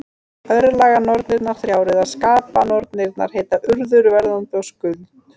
Örlaganornirnar þrjár, eða skapanornirnar, heita Urður, Verðandi og Skuld.